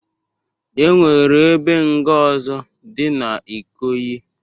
E nwere ebe nga ọzọ dị na Ikoyi